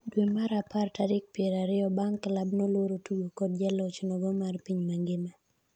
dwe mar apr tarik piero ariyo bang' klabno luoro tugo kod jaloch nogo mar piny mangima